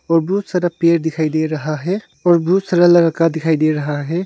और बहुत सारा पेड़ दिखाई दे रहा है और बहुत सारा लड़का दिखाई दे रहा है।